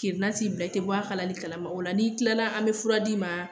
Kirnan t'i minɛ i te bɔ a kalali kalama o la n'i tilala an be fura d'i ma